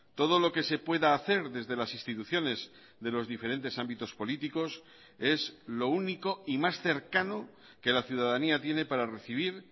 todo lo que se pueda hacer desde las instituciones de los diferentes ámbitos políticos es lo único y más cercano que la ciudadanía tiene para recibir